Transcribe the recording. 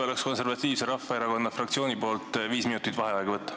Palun Konservatiivse Rahvaerakonna fraktsiooni nimel viis minutit vaheaega!